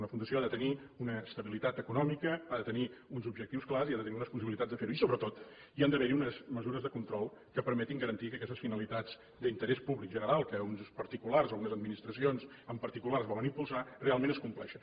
una fundació ha de tenir una estabilitat econòmica ha de tenir uns objectius clars i ha de tenir unes possibilitats de fer ho i sobretot hi han d’haver unes mesures de control que permetin garantir que aquestes finalitats d’interès públic general que uns particulars o unes administracions en particular volen impulsar realment es compleixen